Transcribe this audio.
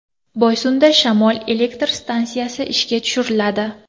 Boysunda shamol elektr stansiyasi ishga tushiriladi.